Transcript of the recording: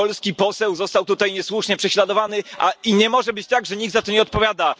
Polski poseł został tutaj niesłusznie prześladowany i nie może być tak, że nikt za to nie odpowiada.